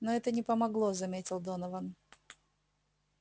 но это не помогло заметил донован